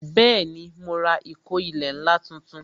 Bẹẹni, mo ra ìkó ilẹ̀ ńlá tuntun